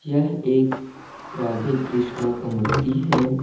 यह एक राधे-कृष्णा का मूर्ति है।